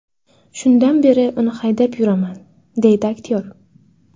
Shundan beri uni haydab yuraman”, deydi aktyor.